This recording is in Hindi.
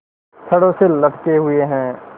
छड़ों से लटके हुए हैं